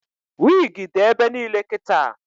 Wigi dị ebe niile kịta